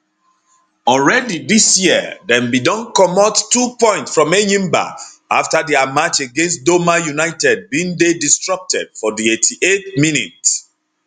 already dis year dem bin don comot two points from enyimba afta dia match against doma united bin dey disrupted for di 88th minute